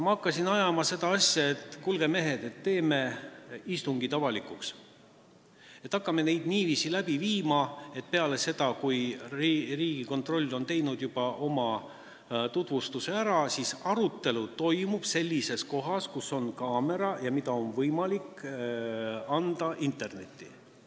Ma hakkasin seda asja ajama, et kuulge, mehed, teeme istungid avalikuks, hakkame neid niiviisi läbi viima, et peale seda, kui Riigikontroll on oma tutvustuse ära teinud, toimub arutelu sellises kohas, kus on kaamera, ja siis oleks ülekannet võimalik vaadata internetis.